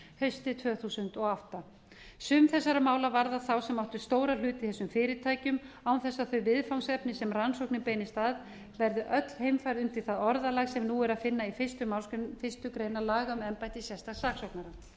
haustið tvö þúsund og átta sum þessara mála varða þá sem áttu stóra hluti í þessum fyrirtækjum án þess að þau viðfangsefni sem rannsóknin beinist að verði öll heimfærð undir það orðalag sem nú er að finna í fyrstu málsgrein fyrstu grein laga um embætti sérstaks